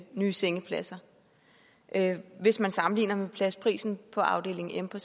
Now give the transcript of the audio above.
nye sengepladser hvis man sammenligner med pladsprisen på afdeling m på